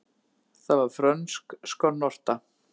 Það var frönsk skonnorta.